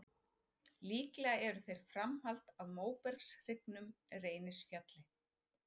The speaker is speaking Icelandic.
Líklega eru þeir framhald af móbergshryggnum Reynisfjalli.